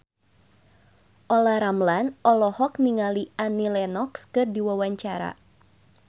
Olla Ramlan olohok ningali Annie Lenox keur diwawancara